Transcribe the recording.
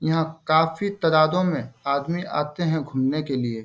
यहां काफी तादादो में आदमी आते हैं घूमने के लिए।